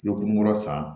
Ɲɔ kun kɔrɔ san